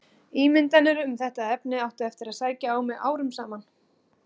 Ímyndanir um þetta efni áttu eftir að sækja á mig árum saman.